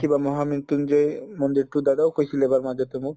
কিবা মহা মৃত্যুঞ্জয় মন্দিৰটো দাদাও কৈছিলে বাৰু মাজতে মোক